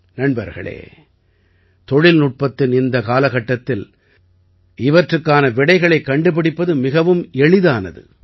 நண்பர்களே தொழில்நுட்பத்தின் இந்தக் காலகட்டத்தில் இவற்றுக்கான விடைகளைக் கண்டுபிடிப்பது மிகவும் எளிதானது